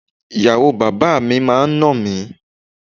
Ìyàwó bàbá mi máa ń nà mí.